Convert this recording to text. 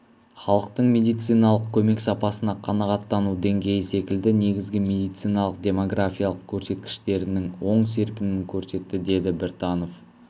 халықтың медициналық көмек сапасына қанағаттану деңгейі секілді негізгі медициналық-демографиялық көрсеткіштерінің оң серпінін көрсетті деді біртанов